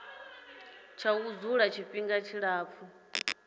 tsha u dzula tshifhinga tshilapfu